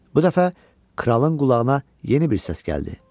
Bu dəfə kralın qulağına yeni bir səs gəldi.